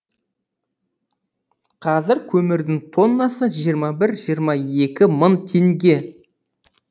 қазір көмірдің тоннасы жиырма бір жиырма екі мың теңге